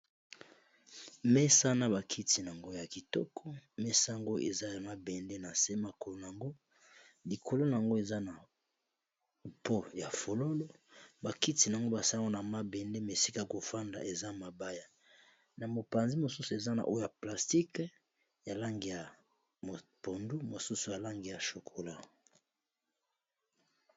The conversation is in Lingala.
mesa na bakiti naango ya kitoko mesa ngo eza ya mabende na nse makolo nango likolo na yango eza na po ya fololo bakiti na yango basango na mabende mesika kofanda eza mabaya na mopanzi mosusu eza na oyo plastike ya lange ya mpondu mosusu alange ya chokola